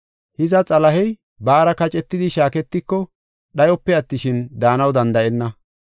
Hiza, Xalahey baara kacetidi shaaketiko dhayope attishin, daanaw danda7enna.